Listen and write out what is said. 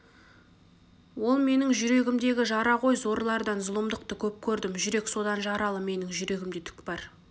ол менің жүрегімдегі жара ғой зорлардан зұлымдықты көп көрдім жүрек содан жаралы менің жүрегімде түк бар